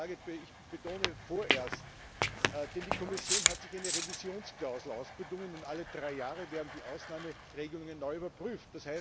Ich betone vorerst, denn die Kommission hat sich eine Revisionsklausel ausbedungen, und alle drei Jahre werden die Ausnahmeregelungen neu überprüft.